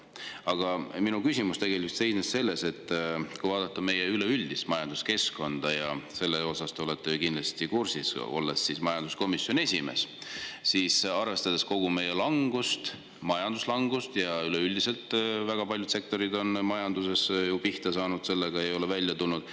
Ent minu küsimus tegelikult seisnes selles, et kui vaadata meie üleüldist majanduskeskkonda, millega te majanduskomisjoni esimehena kindlasti olete kursis, siis kogu meie majanduslangust arvestades on selge, et väga paljud sektorid on pihta saanud ega ole sellest välja tulnud.